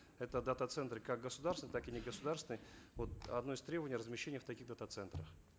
это дата центры как государственные так и негосударственные вот одно из требований размещение в таких дата центрах